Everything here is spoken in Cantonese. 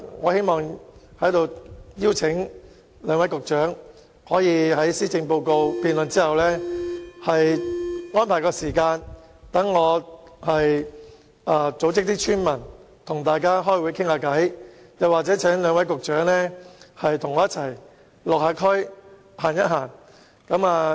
我在此邀請兩位局長在施政報告議案辯論結束後，安排時間讓我組織村民與他們召開會議，或請兩位局長與我一起到區內走走。